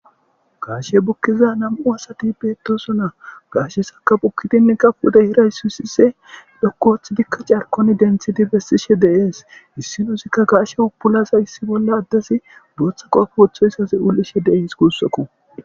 Gaashe bukkiza nam7u asati beetosona. gaashe saka bukkidin kafude hiraysu hissise dhokkoooththi dikka carkon denthidi bessishe deees issinosikka gaashe upulaza issi bolla addes bootha qoafu wothoyssas ulishe de7ees guussakku.